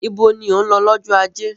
Ibo ni ò ń lọ lọ́jọ́ ajé?